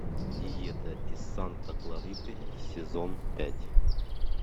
диета из санта клариты сезон пять